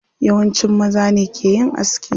Yawanci maza ne ke yin aski.